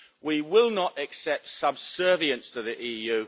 We will not accept subservience to the EU.